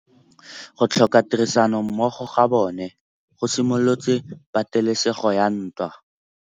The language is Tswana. Go tlhoka tirsanommogo ga bone go simolotse patêlêsêgô ya ntwa.